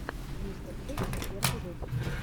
мистерхувс первый выпуск